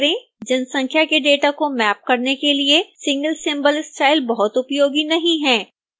जनसंख्या के डेटा को मैप करने के लिए single symbol स्टाइल बहुत उपयोगी नहीं है